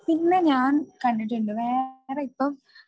പിന്നെ ഞാൻ കണ്ടിട്ടുണ്ട് വേറെ ഇപ്പം